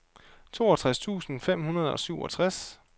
toogtres tusind fem hundrede og syvogtres